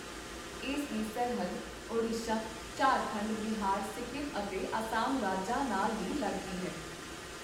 ਇਸ ਦੀ ਸਰਹੱਦ ਓਡੀਸ਼ਾ, ਝਾਰਖੰਡ, ਬਿਹਾਰ, ਸਿੱਕਮ ਅਤੇ ਅਸਾਮ ਰਾਜਾਂ ਨਾਲ ਵੀ ਲੱਗਦੀ ਹੈ।